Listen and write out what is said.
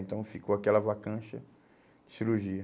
Então, ficou aquela vacância, cirurgia.